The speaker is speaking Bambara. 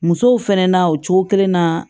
Musow fɛnɛ na o cogo kelen na